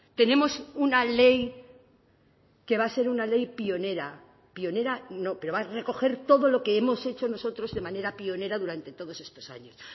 tenemos una ley que va a ser una ley pionera pionera no pero va a recoger todo lo que hemos hecho nosotros de manera pionera durante todos estos años